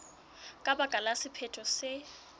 ka baka la sephetho se